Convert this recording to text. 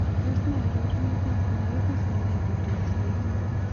Tos' nee arorunetap magitesendai kotwoisiok